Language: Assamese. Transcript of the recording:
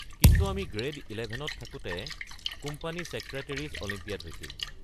কিন্তু আমি গ্ৰেড ইলেভেনত থাকোঁতে কোম্পানী ছেক্ৰেটেৰিছ অলিম্পিয়াড হৈছিল।